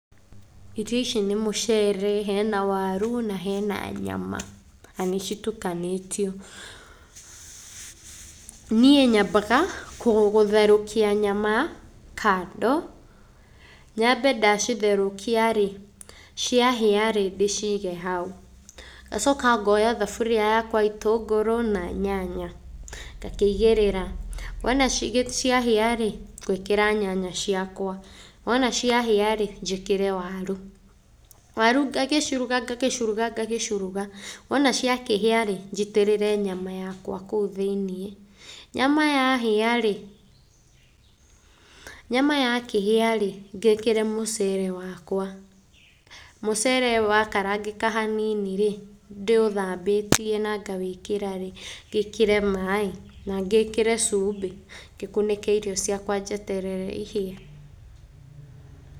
Irio ici nĩ mũcere, hena waru na hena nyama, na nĩ citukanĩtio. Niĩ nyambaga gũtherũkia nyama kando, nyambe ndacitherũkia rĩ, ciahĩa rĩ, ndĩciige hau. Ngacoka ngooya thaburia yakwa, itũngũrũ na nyanya, ngakĩigĩrĩra. Wona ciahia rĩ, ngũĩkĩra nyanya ciakwa. Wona ciahĩa rĩ, njĩkĩre waru. Waru ngagĩciruga ngakĩciruga ngagĩciruga, wona ciakĩhĩa rĩ, njitĩrĩre nyama yakwa kũu thĩiniĩ. Nyama yahĩa rĩ, nyama yakĩhĩa rĩ, ngĩĩkĩra mũcere wakwa. Mũcere wakarangĩka hanini rĩ, ndĩ ũthambĩtie na ngawĩkĩra rĩ, ngĩĩkĩre maaĩ na ngĩĩkĩre cumbĩ, ngĩkunĩke irio ciakwa njeterere ihĩe.